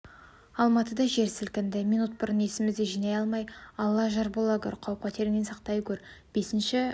алматыда жер сілкінді минут бұрын есімізді жинай алмай алла жар бола гөр қауіп-қатеріңнен сақтай гөр бесінші